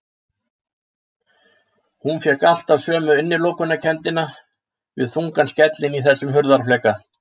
Hún fékk alltaf sömu innilokunarkenndina við þungan skellinn í þessum hurðarfleka.